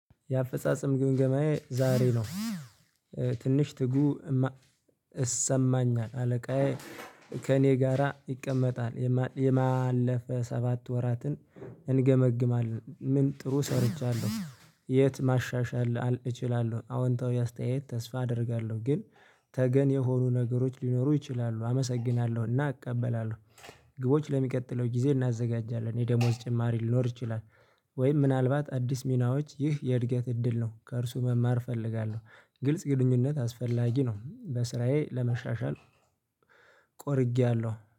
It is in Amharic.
የአፈጻጸም ግምገማዬ ዛሬ ነው። ትንሽ ትጉ እሰማኛል። አለቃዬ ከእኔ ጋራ ይቀመጣል። የማለፍ ሰባት ወራትን እንገመግማለን። ምን ጥሩ ሰርቻለሁ? የት ማሻሻል እችላለሁ? አዎንታዊ አስተያየት ተስፋ አደርጋለሁ። ግን ተገን የሆኑ ነገሮች ሊኖሩ ይችላሉ። አመሰግናለሁና አቀበላለሁ። ግቦች ለሚቀጥለው ጊዜ እናዘጋጃለን። የደሞዝ ጭማሪ ሊኖር ይችላል። ወይም ምናልባት አዲስ ሚናዎች ይህ የእድገት እድል ነው። ከእርሱ መማር እፈልጋለሁ። ግልጽ ግንኙነት አስፈላጊ ነው። በስራዬ ለመሻሻል ቆርጌያለሁ።